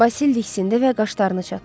Basil diksindi və qaşlarını çatdı.